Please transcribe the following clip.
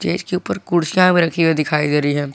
इसके ऊपर कुर्सियां भी रखी हुई दिखाई दे रही है।